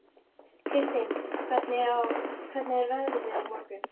Kristin, hvernig er veðrið á morgun?